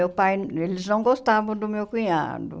Meu pai eles não gostavam do meu cunhado.